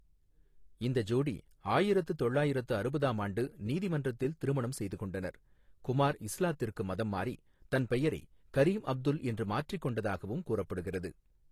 இந்த ஜோடி ஆயிரத்து தொள்ளாயிரத்து அறுபதாம் ஆண்டு நீதிமன்றத்தில் திருமணம் செய்து கொண்டனர், குமார் இஸ்லாத்திற்கு மதம் மாறி தன் பெயரை கரீம் அப்துல் என்று மாற்றிக் கொண்டதாகவும் கூறப்படுகிறது.